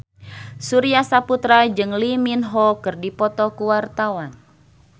Surya Saputra jeung Lee Min Ho keur dipoto ku wartawan